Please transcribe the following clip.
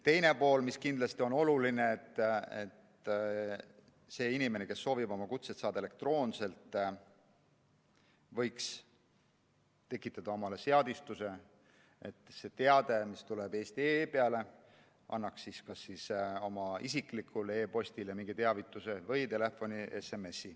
Teiseks on kindlasti oluline, et inimene, kes soovib kutseid saada elektroonselt, võiks tekitada omale seadistuse, et see teade, mis tuleb eesti.ee peale, annaks mingi teavituse kas tema isiklikule e‑postile või saadaks SMS‑i telefoni.